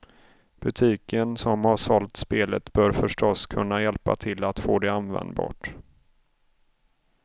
Butiken som har sålt spelet bör förstås kunna hjälpa till att få det användbart.